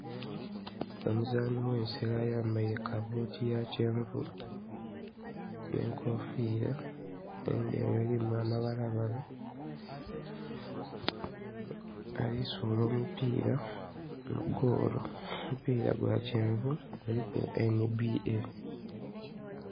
Omuzaani w'ensero ayambaire kabuuti ya kyenvu n' enkofiira endheru elimu amabalabala ali kusuula omupiira mugoolo, omupiira gwa kyenvu guliku NBA.